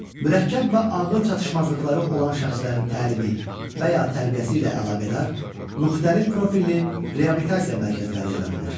Mürəkkəb və ağır çatışmazlıqları olan şəxslərin təlimi və ya tərbiyəsi ilə əlaqədar müxtəlif profilli reabilitasiya mərkəzləri yaradılır.